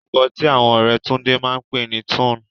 Orúkọ tí àwọn ọ̀rẹ́ Túndé máa pè ní Túnẹ̀.